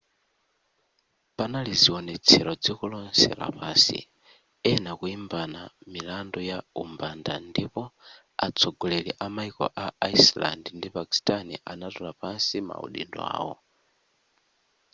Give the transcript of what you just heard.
panali zionetselo dziko lonse lapansi ena kuimbana milandu ya umbanda ndipo atsogoleri amaiko a iceland ndi pakistani anatula pansi maudindo awo